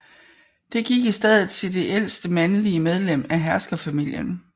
Det gik i stedet til det ældste mandlige medlem af herskerfamilien